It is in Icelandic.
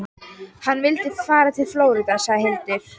Hann vildi fara til Flórída, sagði Hildur.